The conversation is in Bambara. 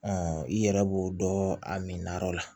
i yɛrɛ b'o dɔn a mina yɔrɔ la